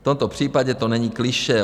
V tomto případě to není klišé.